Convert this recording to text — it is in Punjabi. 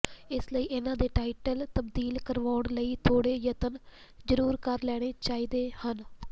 ਇਸ ਲਈ ਇਨ੍ਹਾਂ ਦੇ ਟਾਈਟਲ ਤਬਦੀਲ ਕਰਵਾਉਣ ਲਈ ਥੋੜ੍ਹੇ ਯਤਨ ਜ਼ਰੂਰ ਕਰ ਲੈਣੇ ਚਾਹੀਦੇ ਹਨ